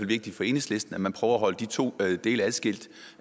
vigtigt for enhedslisten at man prøver at holde de to dele adskilt